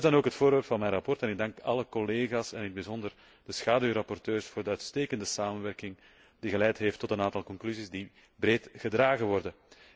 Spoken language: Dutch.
Dat is dan ook het onderwerp van mijn verslag en ik dank alle collega's en in het bijzonder de schaduwrapporteurs voor de uitstekende samenwerking, die geleid heeft tot een aantal conclusies, die breed gedragen worden.